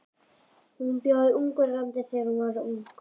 Hún bjó í Ungverjalandi þegar hún var ung.